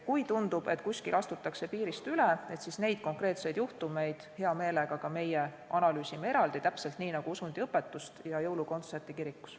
Kui tundub, et kuskil astutakse piirist üle, siis neid konkreetseid juhtumeid me hea meelega eraldi analüüsime, täpselt nii nagu usundiõpetust ja jõulukontserti kirikus.